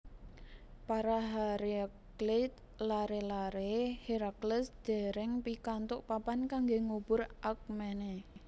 Para Hereakleid lare lare Herakles dereng pikantuk papan kangge ngubur Alkmene